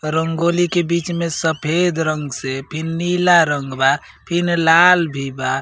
रंगोली के बिच में सफ़ेद रंग से फिन नीला रंग बा फिन लाल भी बा।